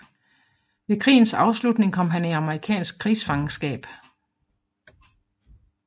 Ved krigens afslutning kom han i amerikansk krigsfangenskab